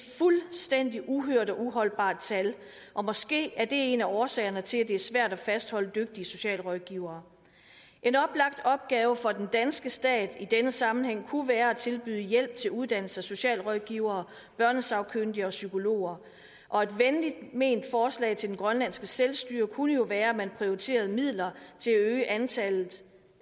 fuldstændig uhørt og uholdbart tal og måske er det en af årsagerne til at det er svært at fastholde dygtige socialrådgivere en oplagt opgave for den danske stat i denne sammenhæng kunne være at tilbyde hjælp til uddannelse af socialrådgivere børnesagkyndige og psykologer og et venligt ment forslag til det grønlandske selvstyre kunne jo være at man prioriterede midler til at øge antallet